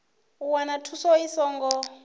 u wana thuso i songo